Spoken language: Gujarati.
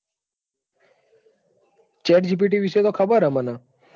Chat gpt વિશે તો ખબર છે મને.